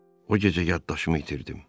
O gecə yaddaşımı itirdim.